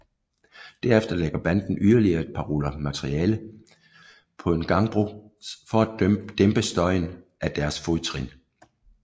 Derefter lægger banden yderligere et par ruller materialer på en gangbro for at dæmpe støjen af deres fodtrin